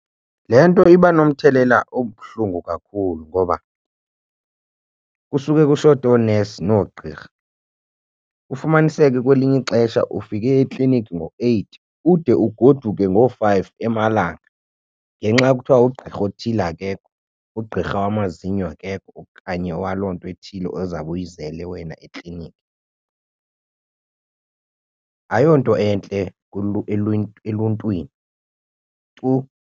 Le nto iba nomthelela obuhlungu kakhulu ngoba kusuke kushote oonesi noogqirha kufumaniseke kwelinye ixesha ufike ekliniki ngo-eight ude ugoduke ngoo-five emalanga ngenxa kuthiwa ugqirha othile akekho, ugqirha wamazinyo akekho okanye waloo nto ethile ozawube uyizele wena ekliniki. Ayonto entle eluntwini tuu.